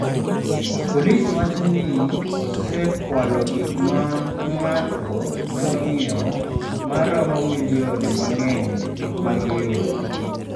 Polis wacho ni osekwalo gik ma ng’ato nyalo ng’iewo ma romo milion mang’eny mag euro.